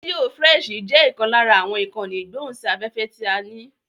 Rédíò frẹ́ṣì jẹ́ ìkan lára àwọn ìkànnì ìgbóhùn sí afẹ́fẹ́ ti a ní.